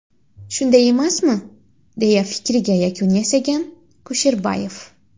Shunday emasmi?” deya fikriga yakun yasagan Kusherboyev.